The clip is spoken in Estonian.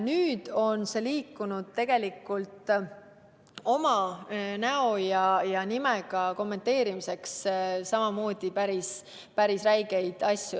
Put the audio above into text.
Nüüd on olukord liikunud selles suunas, et kommenteeritakse oma näo ja nimega ning öeldakse välja samamoodi päris räigeid asju.